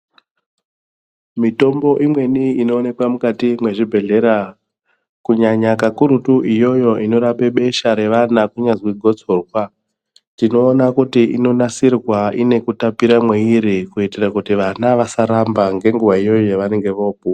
Mitombo imweni inoonekwa mukati mwezvibhedhlera kunyanya kakurutu iyoyo i norape besha revana kunyazwi gotsorwa tinoona kuti inonasirwa ine kutapira mweiri kuitira kuti vana vasaramba ngenguwa iyoyo yavanenge vopuwa.